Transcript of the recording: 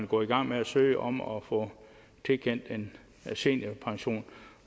gå i gang med at søge om at få tilkendt en seniorpension